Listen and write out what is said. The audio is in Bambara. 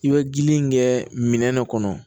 I bɛ gili in kɛ minɛn dɔ kɔnɔ